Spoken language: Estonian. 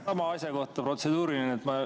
Sama asja kohta protseduuriline.